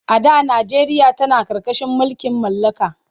A da najeriya tana ƙarƙashin mulkin mallaka.